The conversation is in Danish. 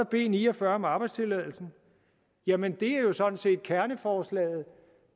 b ni og fyrre om arbejdstilladelsen jamen det er jo sådan set kerneforslaget